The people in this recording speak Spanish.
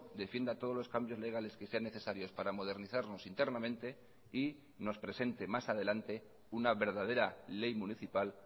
defienda todos los cambios legales que sean necesarios para modernizarnos internamente y nos presente más adelante una verdadera ley municipal